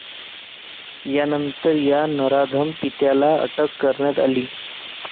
यानंतर या नराधम पित्याला अटक करण्यात आली.